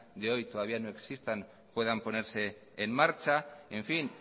de hoy todavía no existan puedan ponerse en marcha en fin